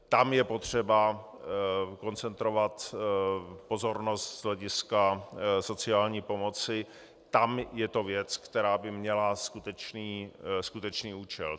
Tam je potřeba koncentrovat pozornost z hlediska sociální pomoci, tam je to věc, která by měla skutečný účel.